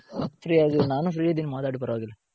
free ಆಗಿದಿನಿ. ನಾನು free ಇದಿನಿ ಮಾತಾಡಿ ಪರವಾಗಿಲ್ಲ